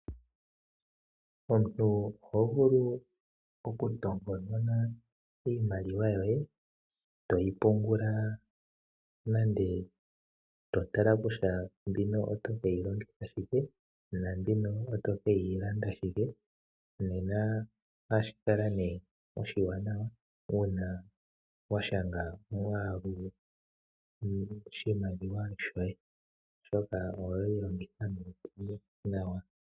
Omuntu oho vulu okutomponona iimaliwa yoye to yi pungula nenge to tala kutya mbino oto ke yi longitha shike naambino oto ke yi landa shike. Nena ohashi kala oshiwanawa uuna wa shanga omwaalu goshimaliwa shoye, oshoka oweyi longitha moompumbwe nawa.